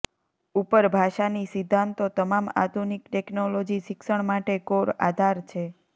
ઉપર ભાષાની સિદ્ધાંતો તમામ આધુનિક ટેકનોલોજી શિક્ષણ માટે કોર આધાર છે